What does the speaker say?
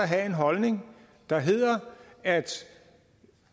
havde en holdning der hedder at